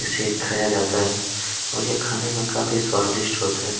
इसे खाया जाता है और ये खाने में काफी स्वादिसट होता है।